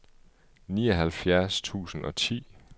nioghalvfjerds tusind og ti